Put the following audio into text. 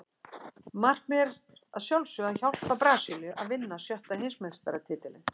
Markmiðið er að sjálfsögðu að hjálpa Brasilíu að vinna sjötta Heimsmeistaratitilinn.